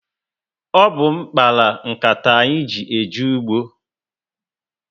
Ọ bu m kpara m nkata anyị ji eje ugbo